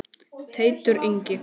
Teitur Ingi.